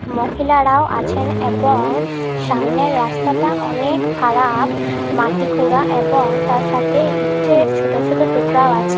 মহিলারাও আছেন এবং সামনের রাস্তাটা অনেক খারাপ মাটি খুড়া এবং তার সাথে ইটের ছোট ছোট টুকরাও আছে।